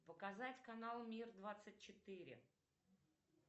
показать канал мир двадцать четыре